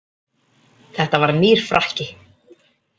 Þetta var nýr frakki.